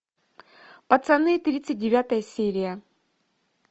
пацаны тридцать девятая серия